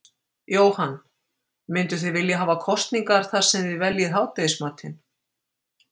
Jóhann: Mynduð þið vilja hafa kosningar þar sem þið veljið hádegismatinn?